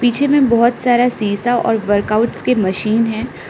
पीछे में बहोत सारा शीशा और वर्कआउट्स के मशीन है।